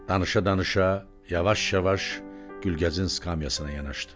Danışa-danışa yavaş-yavaş Gülgəzin skamyasına yanaşdı.